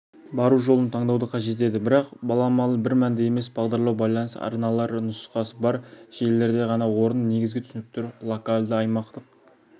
бару жолын таңдауды қажет етеді бірақ баламалы бір мәнді емес бағдарлау байланыс арналар нұсқасы бар желілерде ғана орын негізгі түсініктер локалды аймақтық